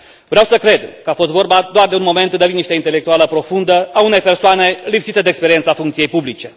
Vreau să cred că a fost vorba doar de un moment de liniște intelectuală profundă a unei persoane lipsite de experiența funcției publice.